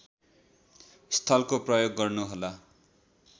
स्थलको प्रयोग गर्नुहोला